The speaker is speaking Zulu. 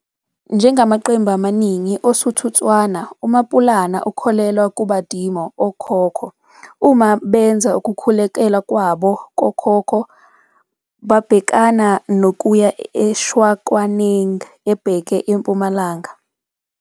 Njengamaqembu amaningi oSuthu-Tswana, uMaPulana ukholelwa kuBadimo, okhokho. Uma benza ukukhulekelwa kwabo kokhokho, go phasa badimo, babhekana nokuya eShakwaneng, ebheke empumalanga.